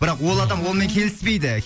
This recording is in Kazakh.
бірақ ол адам онымен келіспейді